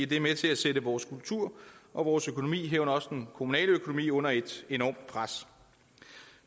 det er med til at sætte vores kultur og vores økonomi herunder også den kommunale økonomi under et enormt pres